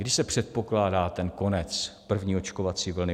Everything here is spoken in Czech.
Kdy se předpokládá ten konec první očkovací vlny?